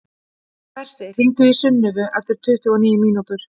Bersi, hringdu í Sunnivu eftir tuttugu og níu mínútur.